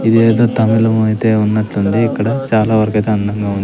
ఇదేదో తమిళం ఐతే ఉన్నట్లుంది ఇక్కడ చాలా వరకైతే అందంగా ఉంది.